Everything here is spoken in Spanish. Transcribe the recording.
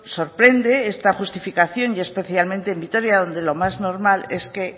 sorprende esta justificación y especialmente en vitoria donde lo más normal es que